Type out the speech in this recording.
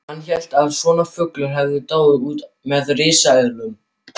Hann hélt að svona fuglar hefðu dáið út með risaeðlunum!